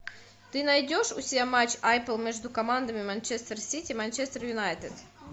ты найдешь у себя матч апл между командами манчестер сити манчестер юнайтед